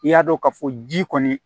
I y'a dɔn k'a fɔ ji kɔni